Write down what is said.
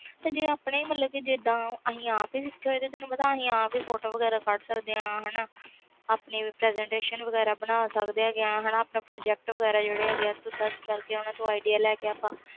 ਜੇ ਆਪਣੇ ਇਹਦਾ ਮਤਬਲ ਸਿੱਖੇ ਹੋਇਆ ਤੈਨੂੰ ਪਤਾ ਆਪ ਹੀ ਫੋਟੋ ਵਗੈਰਾ ਕੱਢ ਸਕਦੇ ਆ ਹਾਣਾ ਆਪਣੀ presentation ਬਣਾ ਸਕਦੇ ਹੈ ਗੇ ਆਪਣਾ project ਵਗੈਰਾ search ਕਰਕੇ ਓਹਨਾ ਤੂੰ idea ਲੈ ਕੇ